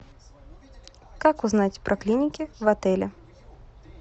как узнать про клиники в отеле